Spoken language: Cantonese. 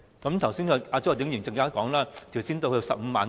剛才周浩鼎議員說，最好提高到 150,000 元。